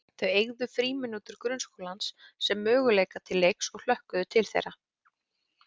Þau eygðu frímínútur grunnskólans sem möguleika til leiks og hlökkuðu til þeirra.